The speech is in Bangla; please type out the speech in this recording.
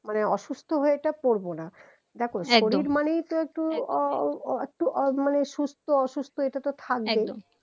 মানে অসুস্থ হয়েটা পরেবোনা একদম covid মানেই তো একটু মানে সুস্থ অসুস্থ এটাতো থাকবেই একদম